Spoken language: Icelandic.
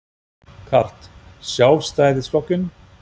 Karl: Sjálfstæðisflokkinn?